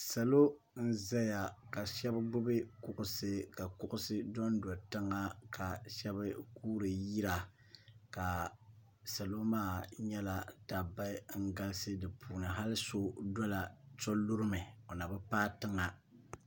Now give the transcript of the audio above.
salo n ʒɛya ka shab gbubi kuɣusi ka kuɣusi dondo tiŋa ka shab guuri yira ka salo maa nyɛla dabba n galisi bi puuni hali so lumi o nabi paai tiŋa